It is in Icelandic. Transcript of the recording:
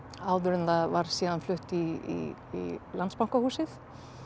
áður en það var síðan flutt í Landsbankahúsið